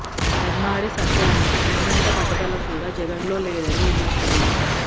ధర్మాడి సత్యానికి ఉన్నంత పట్టుదల కూడా జగన్ లో లేదని విమర్శలు